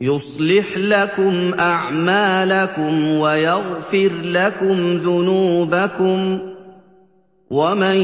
يُصْلِحْ لَكُمْ أَعْمَالَكُمْ وَيَغْفِرْ لَكُمْ ذُنُوبَكُمْ ۗ وَمَن